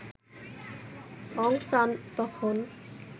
অং San তখন